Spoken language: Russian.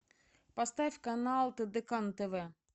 поставь канал тдк на тв